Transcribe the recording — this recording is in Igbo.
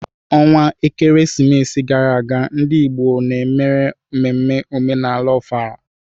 onwa ekeresimesi gara aga, ndị Igbo m mere mmemme omenala Ofala.